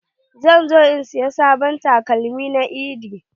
Zan zo in saya sabon takalma na eid.